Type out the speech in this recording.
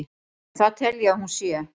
en það tel ég að hún sé.